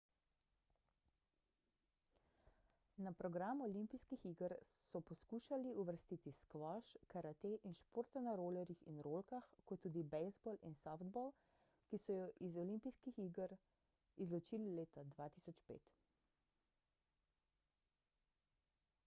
na program olimpijskih iger so poskušali uvrstiti skvoš karate in športe na rolerjih in rolkah kot tudi bejzbol in softball ki so ju iz oi izločili leta 2005